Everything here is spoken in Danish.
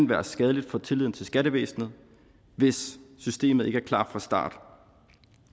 være skadeligt for tilliden til skattevæsenet hvis systemet ikke er klar fra starten